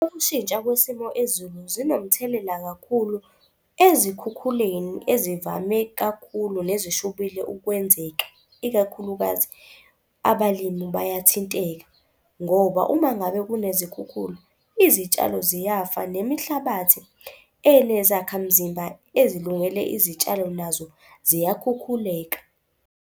Ukushintsha kwisimo ezulu zinomthelela kakhulu ezikhukhuleni ezivame kakhulu nezishubile ukwenzeka. Ikakhulukazi abalimi bayathinteka ngoba uma ngabe kunezikhukhula izitshalo ziyafa, nemihlabathi enezakhamzimba ezilungele izitshalo nazo ziyakhukhuleka.